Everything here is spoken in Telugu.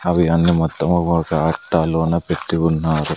అవి అన్ని మొత్తం ఒక అట్టలోన పెట్టి ఉన్నారు.